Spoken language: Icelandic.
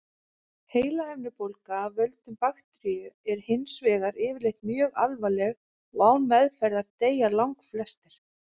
Heilahimnubólga af völdum bakteríu er hins vegar yfirleitt mjög alvarleg og án meðferðar deyja langflestir.